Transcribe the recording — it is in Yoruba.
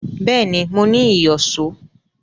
Bẹ́ẹ̀ni, mo ní ìyọ̀ṣó